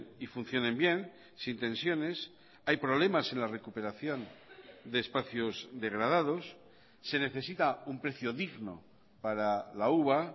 y funcionen bien sin tensiones hay problemas en la recuperación de espacios degradados se necesita un precio digno para la uva